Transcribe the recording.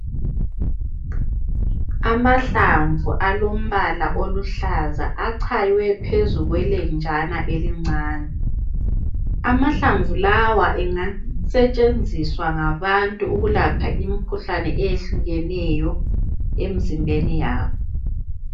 Amahlamvu alombala oluhlaza achaywe phezu kwelenjana elincane. Amahlamvu lawa engasetshenziswa ngabantu ukwelapha imikhuhlane eyehlukeneyo emizimbeni yabo.